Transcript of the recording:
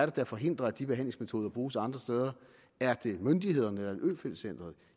der forhindrer at de behandlingsmetoder bruges andre steder er det myndighederne eller øfeldt centret